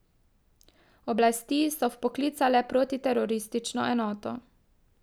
Oblasti so vpoklicale protiteroristično enoto.